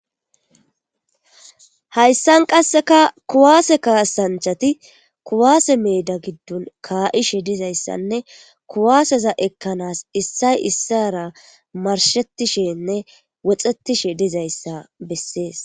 Hayssan qasseka kuwaase kaasanchati kuwaase meeda giddun kaa'ishe dizayssanne kuwaaseza ekkanaas issay issara marshettishenne woxetishe dizayssa bessees